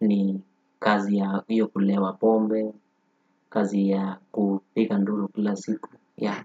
ni kazi ya hiyo kulewa pombe, kazi ya kupiga nduru kila siku, ya.